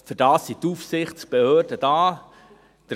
Aber dafür sind die Aufsichtsbehörden da.